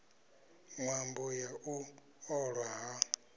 ṅwambo wa u ṱolwa ha